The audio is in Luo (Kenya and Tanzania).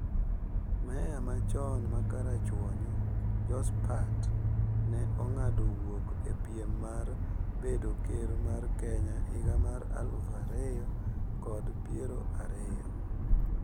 Meya ma chon ma karachuonyo, jospat ne ong'ado wuok e piem mar bedo ker mar Kenya higa mar aluf ariyo kod piero ariyo